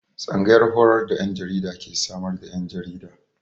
Tsangayar horar da 'yan jarida ke samar da 'yan jarida.